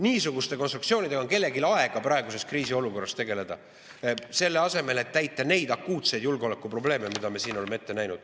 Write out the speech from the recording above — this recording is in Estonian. Niisuguste konstruktsioonidega on kellelgi aega praeguses kriisiolukorras tegeleda, selle asemel et neid akuutseid julgeolekuprobleeme, mida me praegu näeme.